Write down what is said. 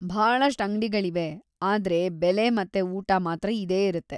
ಭಾಳಷ್ಟ್‌ ಅಂಗ್ಡಿಗಳಿವೆ, ಆದ್ರೆ ಬೆಲೆ ಮತ್ತೆ ಊಟ‌ ಮಾತ್ರ ಇದೇ ಇರತ್ತೆ.